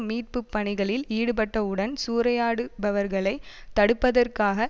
மீட்பு பணிகளில் ஈடுபட்டவுடன் சூறையாடுபவர்களை தடுப்பதற்காக